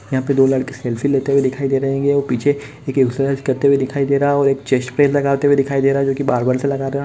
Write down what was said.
यहाँ पे दो लड़के सेल्फ़ी लेते हुए दिखाई दे रहे हैं पीछे एक एक्सरर्साइज़ करते हुए दिखाई दे रहा है और एक चेस्ट प्रेस लगाते हुए दिख रहा है जोकि बारबेल से लगा रहा --